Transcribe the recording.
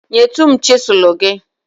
nyetụ m chịsụlụ gị.